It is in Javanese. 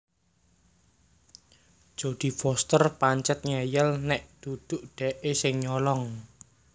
Jodie Foster pancet ngeyel nek duduk dekke sing nyolong